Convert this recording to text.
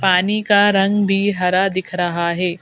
पानी का रंग भी हरा दिख रहा है।